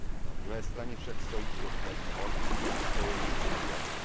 Na druhé straně však stojí i dost nevýhod spojených s mediací.